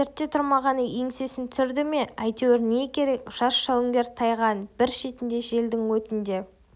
сертте тұрмағаны еңсесін түсірді ме әйтеуір не керек жас жауынгер тайганың бір шетінде желдің өтінде